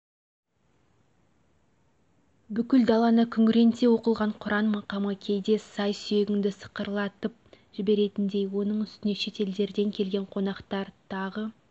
бүкіл даланы күңіренте оқылған құран мақамы кейде сай-сүйегіңді сырқыратып жіберетіндей оның үстіне шетелдерден келген қонақтар тағы